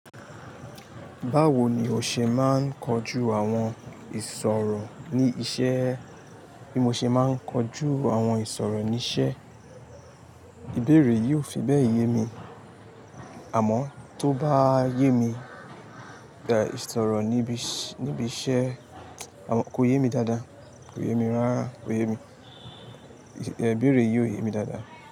Báwo ni o ṣe máa ń kojú àwọn ìṣòro ní iṣẹ́? Bí mo ṣe máa ń kojú àwọn ìṣòro ní iṣẹ́, ìbéèrè yìí ò fi bẹ́ẹ̀ yé mi. Àmọ́ tó bá yé mi, ìṣòro níbi iṣẹ́, àmọ́ kò yé mi dáadáa, kò yé mi rárá. Kò yé mi. Ìbéèrè yìí ò yé mi dáadáa.